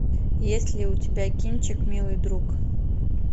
есть ли у тебя кинчик милый друг